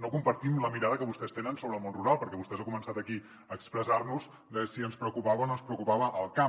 no compartim la mirada que vostès tenen sobre el món rural perquè vostè ha començat aquí a expressar·nos si ens preocupava o no ens pre·ocupava el camp